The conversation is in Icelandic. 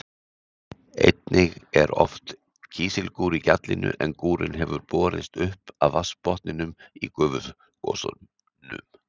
Einnig er oft kísilgúr í gjallinu en gúrinn hefur borist upp af vatnsbotninum í gufugosunum.